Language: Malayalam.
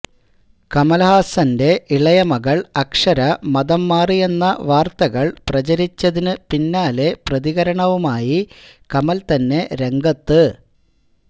കമല്ഹാസന്റെ ഇളയ മകള് അക്ഷര മതം മാറിയെന്ന വാര്ത്തകള് പ്രചരിച്ചതിന് പിന്നാലെ പ്രതികരണവുമായി കമല് തന്നെ രംഗത്ത്